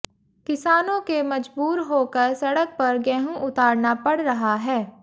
किसानों के मजबूर होकर सड़क पर गेहूं उतारना पड़ रहा है